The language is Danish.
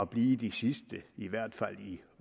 blive de sidste i hvert fald i